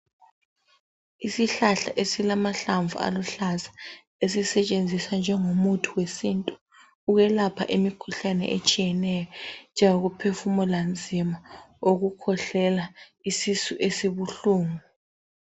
Isihlahla esilamahlamvu aluhlaza esitshenziswa njengomuthi wesintu ukwelapha imikhuhlane etshiyeneyo njengokuphefumula nzima ukukhwehlela isisu esibuhlungu.